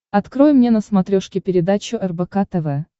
открой мне на смотрешке передачу рбк тв